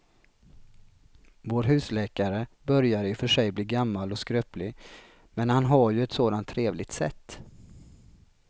Vår husläkare börjar i och för sig bli gammal och skröplig, men han har ju ett sådant trevligt sätt!